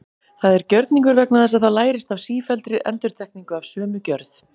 Það er gjörningur vegna þess að það lærist af sífelldri endurtekningu af sömu gjörð.